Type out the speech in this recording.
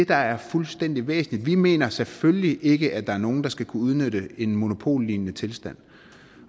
der er fuldstændig væsentligt vi mener selvfølgelig ikke at der er nogen der skal kunne udnytte en monopollignende tilstand